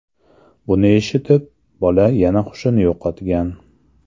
Buni eshitib, bola yana hushini yo‘qotgan.